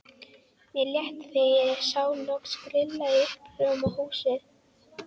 Mér létti þegar ég sá loks grilla í uppljómað húsið.